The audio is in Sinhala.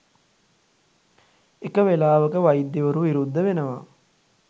එක වෙලාවක වෛද්‍යවරු විරුද්ධ වෙනවා